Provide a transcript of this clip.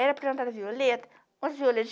Era plantada violeta. Umas